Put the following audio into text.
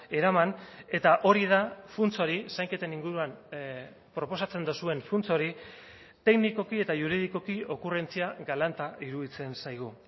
eraman eta hori da funts hori zainketen inguruan proposatzen duzuen funts hori teknikoki eta juridikoki okurrentzia galanta iruditzen zaigu